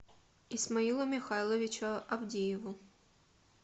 исмаилу михайловичу авдееву